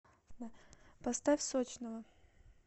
поставь сочного